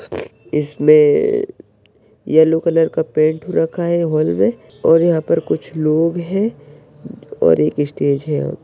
इसमे yellow colour का paint रखा है हॉल मे और यहा पर कुछ लोग है और एक इस्टेज है।